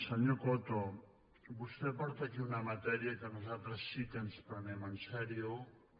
senyor coto vostè porta aquí una matèria que nosaltres sí que ens prenem seriosament